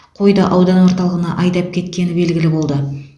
қойды аудан орталығына айдап кеткені белгілі болды